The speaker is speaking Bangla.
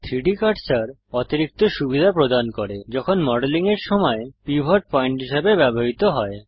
3ডি কার্সার অতিরিক্ত সুবিধা প্রদান করে যখন মডেলিং এর সময় পিভট পয়েন্ট হিসেবে ব্যবহৃত হয়